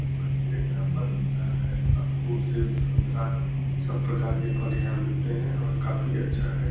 फल मंडी है। यहाँ फल बिक रहा है। अंगूर सेब संतरा सब प्रकार के फल यहाँ बिकते हैं और काफी अच्छा है।